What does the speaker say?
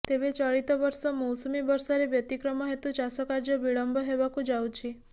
ତେବେ ଚଳିତ ବର୍ଷ ମୌସୁମି ବର୍ଷାରେ ବ୍ୟତିକ୍ରମ ହେତୁ ଚାଷ କାର୍ଯ୍ୟ ବିଳମ୍ବ ହେବାକୁ ଯାଉଛି